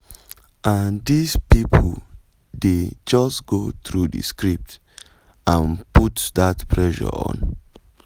"and dis pipo dey just go through di script and put dat pressure on.